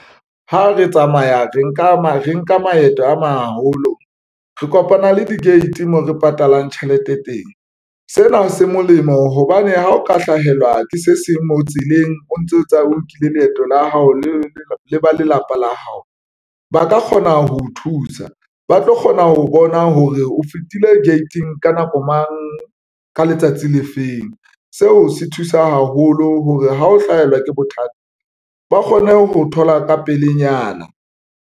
Ha re tsamaya re nka maeto a maholo, re kopana le di-gate mo re patalang tjhelete teng. Sena se molemo hobane ha o ka hlahelwa ke se seng mo tseleng o ntso tsa o nkile leeto la hao le ba lelapa la hao ba ka kgona ho thusa, ba tlo kgona ho bona hore o fetile gate-ing ka nako mang, ka letsatsi le feng. Seo se thusa haholo hore ha o hlahelwa ke bothata ba kgone ho thola ka pelenyana.